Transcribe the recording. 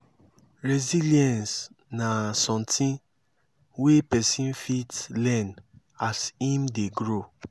resilience na something wey person fit learn as im dey grow